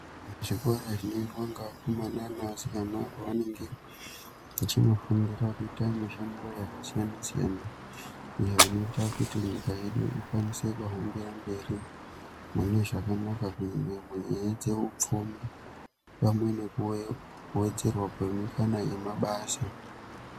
Chikora chinoendwa ngevakomana nevasikana pavenenge vachinofundira kuita mishando yakasiyana -siyana iyo inoita kuti nyika yedu ikwanise muhambira mberi mune zvakanaka kunyanya kunyanya dzeupfumi pamwe nekuwedzerwa kwemikana yemabasa.